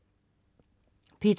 P2: